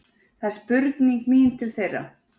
Það er spurning mín til þeirra